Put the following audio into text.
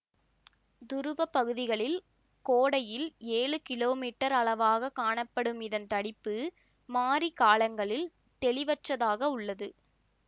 துருவ பகுதிகளில் கோடையில் ஏழு கிலோமீட்டர் அளவாக காணப்படும் இதன் தடிப்பு மாரி காலங்களில் தெளிவற்றதாக உள்ளது